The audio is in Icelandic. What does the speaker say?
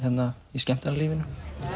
í skemmtanalífinu